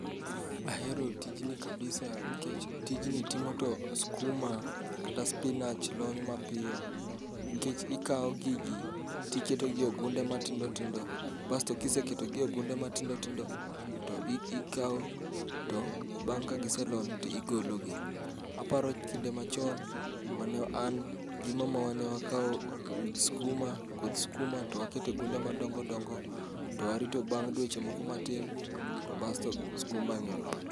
Ahero tijni kabisa nkech tijni timo to skuma kata spinach lony mapiyo nkech ikawo gigi tiketo gi ogunde matindo tindo basto kiseketogi e ogunde matindo tindo to ikawo to bang' ka giselony to igologi. Aparo kinde machon ma an gi mamawa ne wakawo koth skuma towakete gunde madongo dongo towarito bang' dweche moko matin to basto skumani olony.